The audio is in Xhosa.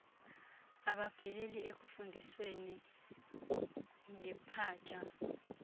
abapheleli ekufundisweni ngepaja